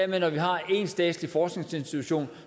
når vi har en statslig forskningsinstitution